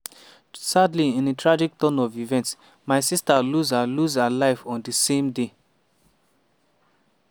“sadly in a tragic turn of events my sister lose her lose her life on di same day.”